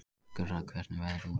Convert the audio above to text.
Gurra, hvernig er veðrið úti?